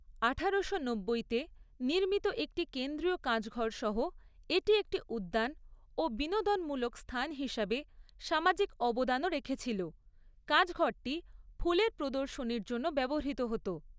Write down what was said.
আঠারোশো নব্বইতে নির্মিত একটি কেন্দ্রীয় কাচঘরসহ এটি একটি উদ্যান ও বিনোদনমূলক স্থান হিসাবে সামাজিক অবদানও রেখেছিল, কাচঘরটি ফুলের প্রদর্শনীর জন্য ব্যবহৃত হত।